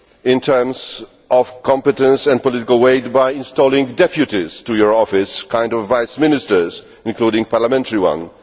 in terms of competence and political weight by installing deputies to your office kind of vice ministers', including parliamentary ones.